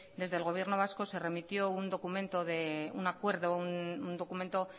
desde el gobierno vasco se remitió un documento de un acuerdo un documento